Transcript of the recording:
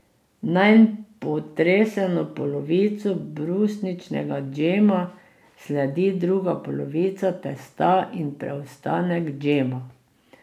Nanj potresemo polovico brusničnega džema, sledi druga polovica testa in preostanek džema.